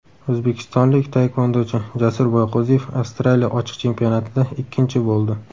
O‘zbekistonlik taekvondochi Jasur Boyqo‘ziyev Avstraliya ochiq chempionatida ikkinchi bo‘ldi.